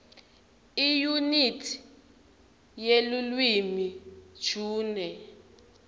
iyunithi yelulwimi june